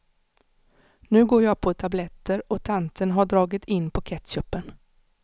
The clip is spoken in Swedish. Nu går jag på tabletter och tanten har dragit in på ketchupen.